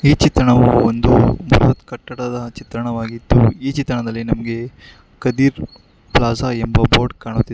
ಈ ಚಿತ್ರಣವು ಒಂದು ಬೃಹತ್ ಕಟ್ಟಡದ ಚಿತ್ರಣವಾಗಿದ್ದು ಈ ಚಿತ್ರಣದಲ್ಲಿ ನಮಗೆ ಕದೀರ್ ಪ್ಲಾಜಾ ಎಂಬ ಬೋರ್ಡ್ ಕಾಣುತ್ತದೆ.